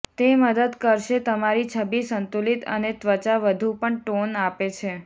તે મદદ કરશે તમારી છબી સંતુલિત અને ત્વચા વધુ પણ ટોન આપે છે